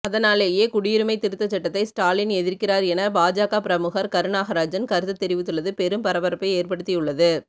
அதனாலேயே குடியுரிமை திருத்தசட்டத்தை ஸ்டாலின் எதிர்க்கிறார் என பாஜக பிரமுகர் கருநாகராஜன் கருத்து தெரித்துள்ளது பெரும் பரபரப்பை ஏற்படுத்தியுள்ளது